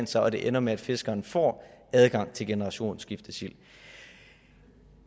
så og det ender med at fiskeren får adgang til generationsskiftesild